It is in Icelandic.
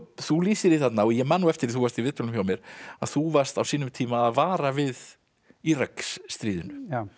þú lýsir því þarna og ég man eftir að þú varst í viðtölum hjá mér að þú varst á sínum tíma að vara við Íraksstríðinu